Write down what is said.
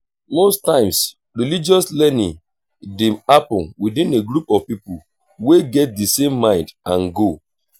most times religious learning dey happen within a group of pipo we get di same mind and goal